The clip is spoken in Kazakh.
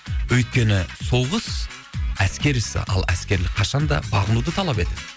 өйткені соғыс әскер ісі ал әскерлік қашанда бағынуды талап етеді